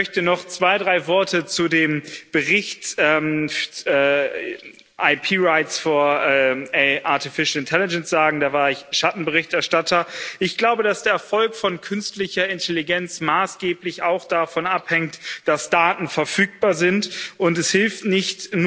Ich möchte noch zwei, drei Worte zu dem Bericht IP rights for artificial intelligence sagen, da war ich Schattenberichterstatter Ich glaube, dass der Erfolg von künstlicher Intelligenz maßgeblich auch davon abhängt, dass Daten verfügbar sind, und es hilft nicht,